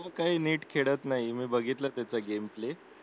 तो काही नीट खेळत नाही मी बघितलं त्याचा गेमप्ले